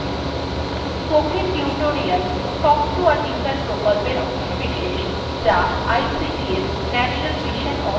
spoken tutorials talk to a teacher প্রকল্পের অংশবিশেষ যা ict এর national mission on education দ্বারা সাহায্যপ্রাপ্ত